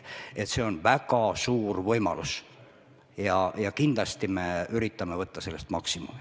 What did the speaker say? See on väga suur võimalus ja kindlasti me üritame võtta sellest maksimumi.